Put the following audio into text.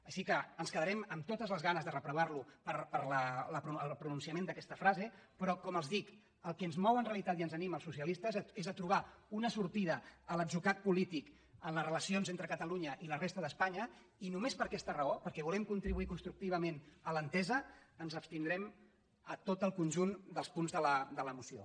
així que ens quedarem amb totes les ganes de reprovar lo pel pronunciament d’aquesta frase però com els dic el que ens mou en realitat i ens anima als socialistes és trobar una sortida a l’atzucac polític en les relacions entre catalunya i la resta d’espanya i només per aquesta raó perquè volem contribuir constructivament a l’entesa ens abstindrem en tot el conjunt dels punts de la moció